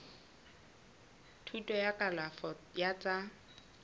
thuto ya kalafo ya tsa